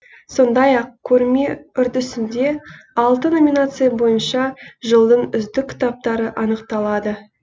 сондай ақ көрме үрдісінде алты номинация бойынша жылдың үздік кітаптары анықталады